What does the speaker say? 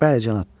Bəli, cənab.